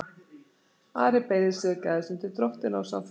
Ari beygði sig og gægðist undir dróttina og sá föður sinn.